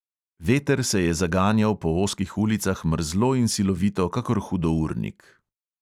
Veter se je zaganjal po ozkih ulicah mrzlo in silovito kakor hudournik.